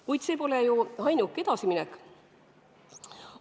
Kuid see pole ju ainuke edasiminek.